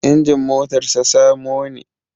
Injin motar sa samo ne